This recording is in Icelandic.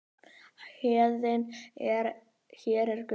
Héðinn: Hér er Gunnar.